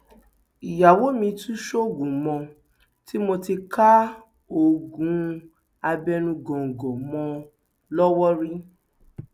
ìyàwó mi tún ń ṣoògùn mo ti mo ti ká oògùn abẹnú góńgó mọ ọn lọwọ rí